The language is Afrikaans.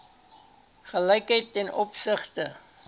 gelykheid ten opsigte